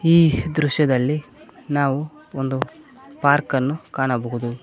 ಈ ದೃಶ್ಯದಲ್ಲಿ ನಾವು ಒಂದು ಪಾರ್ಕನ್ನು ಕಾಣಬಹುದು.